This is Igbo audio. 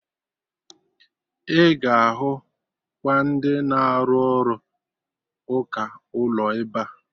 Ị ga-ahụ kwa ndị na-arụ ọrụ ụka ụlọ ebea